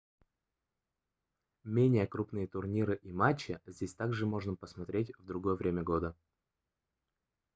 менее крупные турниры и матчи здесь также можно посмотреть в другое время года